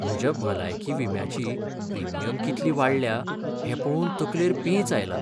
म्हज्या भलायकी विम्याची प्रीमियम कितली वाडल्या हें पळोवन तकलेर पेंच आयला.